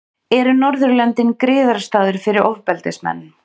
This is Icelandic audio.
Eru Norðurlöndin griðastaður fyrir ofbeldismenn?